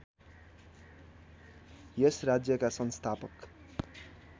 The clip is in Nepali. यस राज्यका संस्थापक